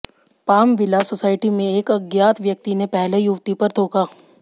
palm Villa Society में एक अज्ञात व्यक्ति ने पहले युवती पर थूका